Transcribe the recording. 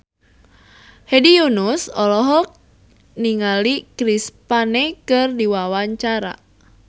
Hedi Yunus olohok ningali Chris Pane keur diwawancara